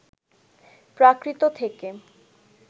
প্রাকৃত থেকে